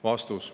" Vastus.